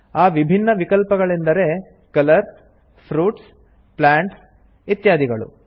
ಆ ವಿಭಿನ್ನ ವಿಕಲ್ಪಗಳೆಂದರೆ ಕಲರ್ಸ್ ಫ್ರೂಟ್ಸ್ ಪ್ಲಾಂಟ್ಸ್ ಇತ್ಯಾದಿಗಳು